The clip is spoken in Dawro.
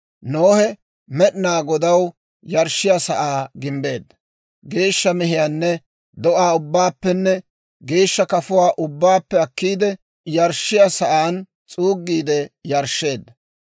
Nohe Med'inaa Godaw yarshshiyaa sa'aa gimbbeedda; geeshsha mehiyaanne do'aa ubbaappenne geeshsha kafuwaa ubbaappe akkiide, yarshshiyaa sa'aan s'uuggiide yarshsheedda.